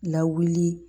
Lawuli